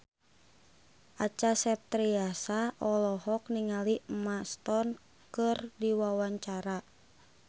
Acha Septriasa olohok ningali Emma Stone keur diwawancara